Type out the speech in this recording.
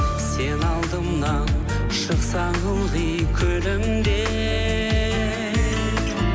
сен алдымнан шықсаң ылғи күлімдеп